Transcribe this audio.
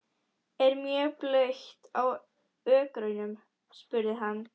Er mjög blautt á ökrunum? spurði hann.